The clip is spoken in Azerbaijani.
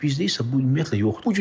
Bizdə isə bu ümumiyyətlə yoxdur.